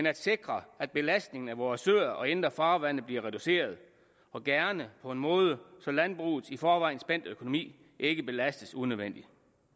at sikre at belastningen af vore søer og indre farvande bliver reduceret og gerne på en måde så landbrugets i forvejen spændte økonomi ikke belastes unødvendigt